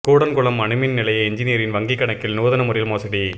கூடன்குளம் அணுமின் நிலைய என்ஜினியரின் வங்கிக் கணக்கில் நூதன முறையில் மோசடி